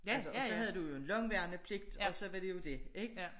Altså og så havde du jo en lang værnepligt og så var det jo det ik